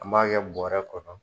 An b'a kɛ bɔrɛ kɔnɔ.